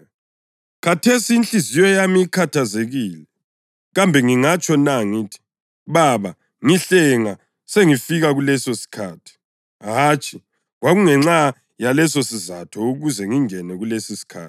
Khathesi inhliziyo yami ikhathazekile. Kambe ngingatsho na ngithi, ‘Baba, ngihlenga singafiki lesosikhathi’? Hatshi, kwakungenxa yalesisizatho ukuze ngingene kulesisikhathi.